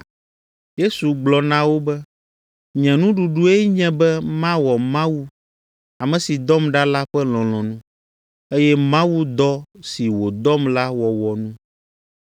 Yesu gblɔ na wo be, “Nye nuɖuɖue nye be mawɔ Mawu, ame si dɔm ɖa la ƒe lɔlɔ̃nu, eye mawu dɔ si wòdɔm la wɔwɔ nu.